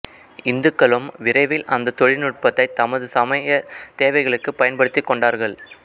இந்துக்களும் விரைவில் அந்தத் தொழிநுட்பத்தை தமது சமய தேவைகளுக்குப் பயன்படுத்திக் கொண்டார்கள்